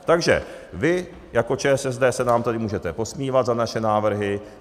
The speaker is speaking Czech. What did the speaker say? Takže vy jako ČSSD se nám tady můžete posmívat za naše návrhy.